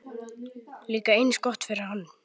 Líka eins gott fyrir hann.